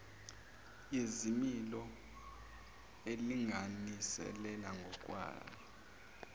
yezimilo elinganisela ngokwayo